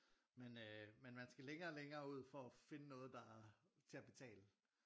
Men øh men man skal længere og længere ud for at finde noget der er til at betale